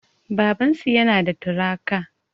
Babansu yana da tirakta